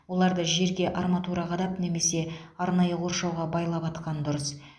оларды жерге арматура қадап немесе арнайы қоршауға байлап атқан дұрыс